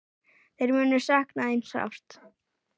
Þeir munu sakna þín sárt.